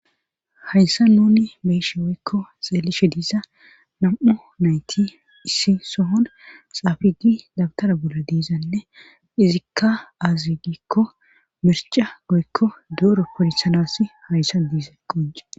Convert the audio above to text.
hayssa nuni beyishe woykko xeelishe diisa nam7u nayti issi sohon xaafigi dabtara bolla diizanne izikka azegikko mirca goykko duoro polisanasi hayssa diiza qonce